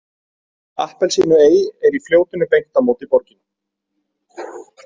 Appelsínuey er í fljótinu beint á móti borginni.